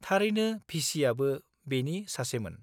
थारैनो VC आबो बेनि सासेमोन।